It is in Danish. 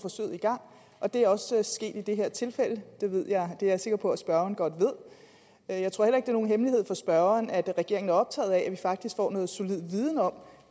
i gang og det er også sket i det her tilfælde det er jeg sikker på spørgeren godt ved jeg tror heller ikke nogen hemmelighed for spørgeren at regeringen er optaget af at vi faktisk får noget solid viden om